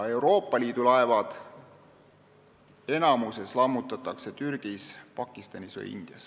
Euroopa Liidu laevad lammutatakse enamasti Türgis, Pakistanis või Indias.